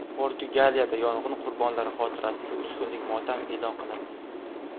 Portugaliyada yong‘in qurbonlari xotirasiga uch kunlik motam e’lon qilindi .